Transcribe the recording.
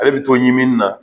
Ale bi to ɲiminna